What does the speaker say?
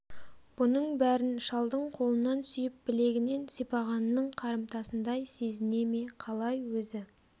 бұның бәрін шалдың қолынан сүйіп білегінен сипағанының қарымтасындай сезіне ме қалай өзі